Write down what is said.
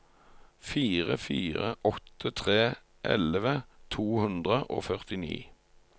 fire fire åtte tre elleve to hundre og førtini